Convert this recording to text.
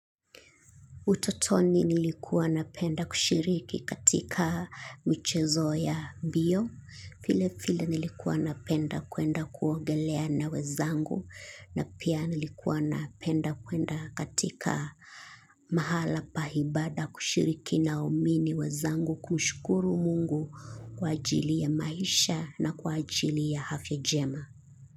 Utotoni nilikuwa napenda kushiriki katika michezo ya mbio, vile vile nilikuwa napenda kwenda kuogelea na wenzangu, na pia nilikuwa napenda kwenda katika mahala paibada kushiriki na waumini wenzangu kumshukuru mungu kwa ajili ya maisha na kwa ajili ya afya njema.